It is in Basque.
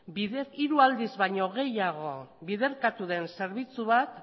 hiru aldiz baino gehiago biderkatu den zerbitzu bat